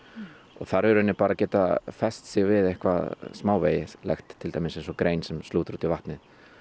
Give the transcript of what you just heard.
þar í rauninni bara að geta fest sig við eitthvað smávægilegt eins og grein sem slútir út í vatnið